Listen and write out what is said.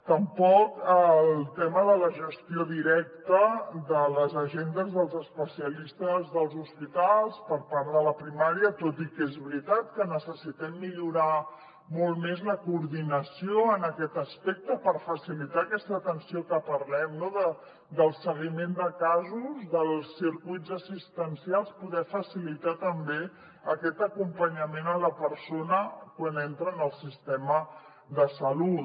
tampoc el tema de la gestió directa de les agendes dels especialistes dels hospitals per part de la primària tot i que és veritat que necessitem millorar molt més la coordinació en aquest aspecte per facilitar aquesta atenció de què parlem no del seguiment de casos dels circuits assistencials poder facilitar també aquest acompanyament a la persona quan entra en el sistema de salut